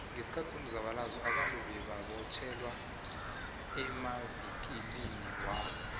nqesikhathi samzabalazo abantu bebamotjhelwa emavikiliniwabo